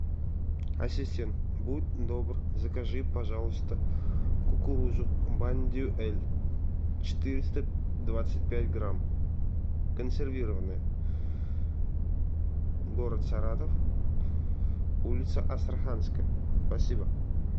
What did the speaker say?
ассистент будь добр закажи пожалуйста кукурузу бондюэль четыреста двадцать пять грамм консервированная город саратов улица астраханская спасибо